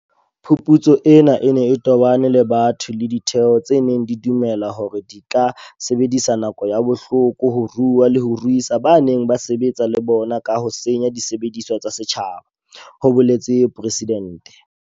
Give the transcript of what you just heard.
Phuputso ena e ne e tobane le batho le ditheo tse neng di dumela hore di ka sebedisa nako ya bohloko ho rua le ho ruisa bao ba neng ba sebetsa le bona ka ho senya disebediswa tsa setjhaba, ho boletse Presidente.